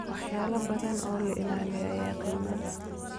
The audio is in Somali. Waxyaalo badan oo ilaaliya ayaa qiimo leh.